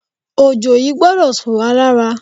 Òjò yìí gbọdọ̀ tú wá lára.